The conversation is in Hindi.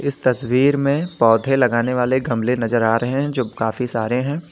इस तस्वीर में पौधे लगाने वाले गमले नजर आ रहे हैं जो काफी सारे हैं।